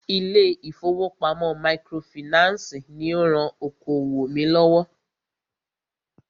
Ilé ìfọwọ́pamo microfinancii ní o rán okoòwò mí lọ́wọ́.